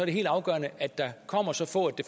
det helt afgørende at der kommer så få at det